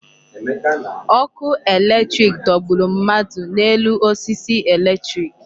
Ọkụ electric dọgburu mmadụ n'elu osisi electric.